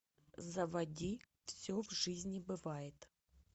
заводи все в жизни бывает